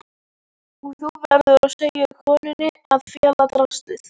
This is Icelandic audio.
Og þú verður að segja konunni að fela draslið.